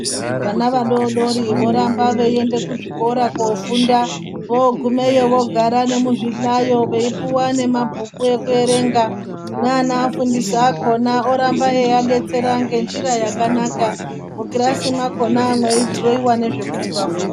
Vana vadodori voramba veienda kuzvikora kofunda, vogumeyo vogara nemuzvi hlayo veipuwa nemabhuku ekuerenga. Neanovafundisa akona oramba eyiadetsera ngenjira yakanaka. Mukirasi mwakona mweidhirowewa zvekuti vafunde.